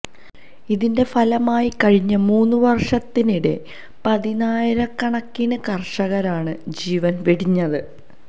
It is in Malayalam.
ഇതിന്റെ ഫലമായി കഴിഞ്ഞ മൂന്ന് വര്ഷത്തിനിടെ പതിനായിരകണക്കിന് കര്ഷകരാണ് ജീവന് വെടിഞ്ഞത്